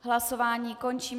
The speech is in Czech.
Hlasování končím.